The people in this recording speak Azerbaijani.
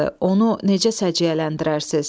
Onu necə səciyyələndirərsiniz?